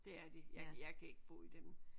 Det er de jeg jeg kan ikke bo i dem